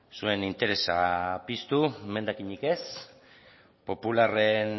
zuen interesa piztu emendakinik ez popularren